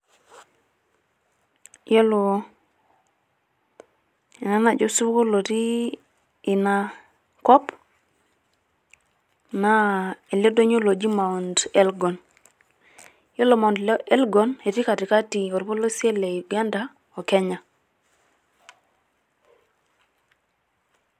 Yiolo ena naji osupuko lotii ina kop naa ele donyio loji Mount Elgon .yiolo Mount Elgon naa etii katikati orpolosie le Uganda o Kenya.